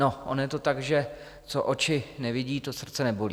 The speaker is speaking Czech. No ono je to tak, že co oči nevidí, to srdce nebolí.